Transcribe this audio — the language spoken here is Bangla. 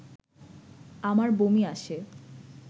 আমার বমি আসে